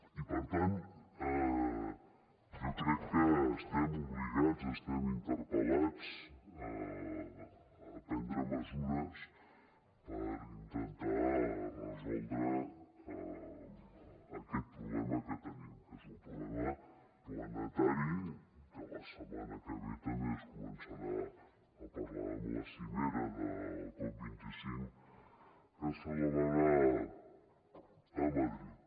i per tant jo crec que estem obligats estem interpel·lats a prendre mesures per intentar resoldre aquest problema que tenim que és un problema planetari que la setmana que ve també es començarà a parlar en la cimera del cop25 que es celebrarà a madrid